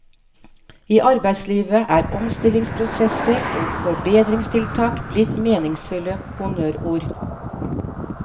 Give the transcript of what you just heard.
I arbeidslivet er omstillingsprosesser og forbedringstiltak blitt meningsfulle honnørord.